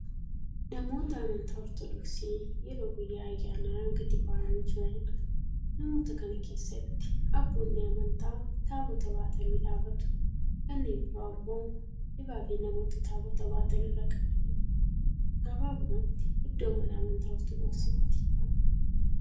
Namoota amantaa ortodoksii yeroo guyyaa ayyanaa gadi bahanii jiraniidha. namoota kana keessatti abboonni amantaa taabota banatanii dhaabatu. kanneen biroo ammoo dibaabee namoota taabota baatan irra qabanii jiru. gabaabumatti iddoo mana amantaa ortodoksiitti argamu.